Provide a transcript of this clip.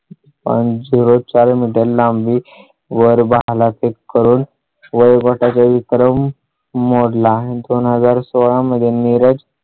अन zero चार मीटर लांबी वर भाला फेक करून वैभव कार्यक्रम मोडला आहे. दोन हजार सोळा मध्ये नीरज